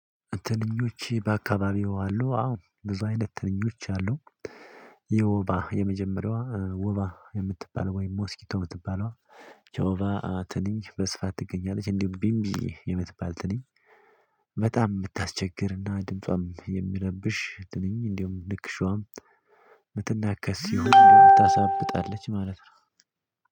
ትንኞች በአካባቢው አሉ አዎ ብዙ አይነት ትንኞች አሉ። የወባ የመጀመሪያዋ ወባ የምትባለው ወይም ሞስኪቶ የምትባለው። ወባ በስፋት ትገኛለች። እንዲሁም ቢምቢ የምትባል ትንኝ። በጣም የምታስቸግር ድምጿም የሚረብሽ። እንዲሁም ንክሻዋአም። የምትናከስ እንዲሁም ታሳብጣለች።